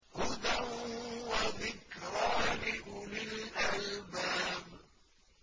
هُدًى وَذِكْرَىٰ لِأُولِي الْأَلْبَابِ